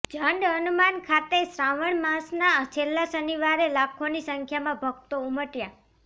ઝંડ હનુમાન ખાતે શ્રાવણ માસના છેલ્લા શનિવારે લાખોની સંખ્યામાં ભક્તો ઉમટ્યા